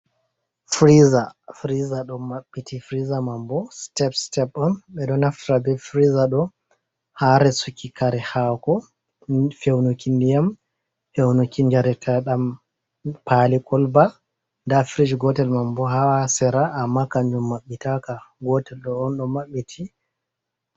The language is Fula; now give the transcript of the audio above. Firiija, Firiija ɗon mabbiti, Firiijija manbo sitep sitep on, ɓeɗon naftira bee firiija ɗo haa resuki kare hako, fewnuki ndiyam, fewnuki djareteɗam, paali kolba, nda firis gootel manbo ha sera, amma kanjum maɓɓitaaka, gootel ɗo'on maɓɓiti.